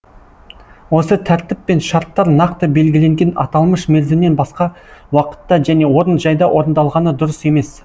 осы тәртіп пен шарттар нақты белгіленген аталмыш мерзімнен басқа уақытта және орын жайда орындалғаны дұрыс емес